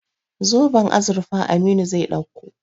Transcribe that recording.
Zoben azurfa Aminu zai ɗauko.